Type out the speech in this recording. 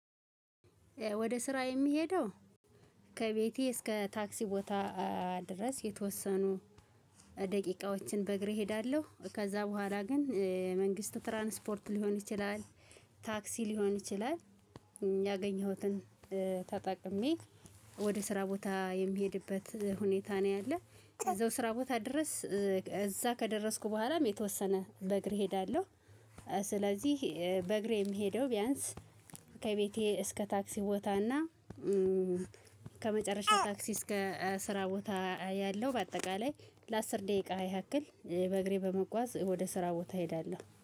ወደ ስራ የሚሄደው ከቤቴ እስከ ታክሲ ቦታ ድረስ የተወሰኑ ደቂቃዎችን በእግሬ እሄዳለሁ ከዛ በኋላ ግን የመንግስት ትራንስፖርት ሊሆን ይችላል ታክሲ ሊሆን ይችላል ያገኘሁትን ተጠቅሜ ወደ ስራ ቦታ የምሄድበት ሁኔታ ነው ያለው እዛው ስራ ቦታ ድረስ እዛ ከደረስኩ በኋላም የተወሰነ በእግሬ እሄዳለሁ። ስለዚህ በእግሬ የምሄደው ቢያንስ ከቤቴ እስከ ታክሲ ቦታ እና ከመጨረሻ ታክሲ እስከ ስራ ቦታ ያለው በአጠቃላይ ለአስር ደቂቃ ያክል በእግሬ በመጓዝ ወደ ስራ ቦታ እሄዳለሁ